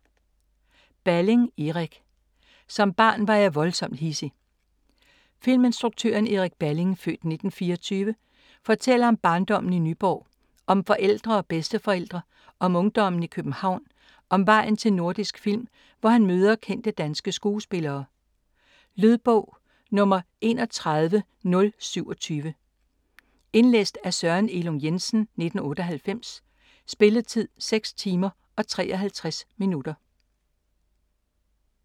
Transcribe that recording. Balling, Erik: Som barn var jeg voldsomt hidsig Filminstruktøren Erik Balling (f. 1924) fortæller om barndommen i Nyborg, om forældre og bedsteforældre, om ungdommen i København og om vejen til Nordisk Film, hvor han møder kendte danske skuespillere. Lydbog 31027 Indlæst af Søren Elung Jensen, 1998. Spilletid: 6 timer, 53 minutter.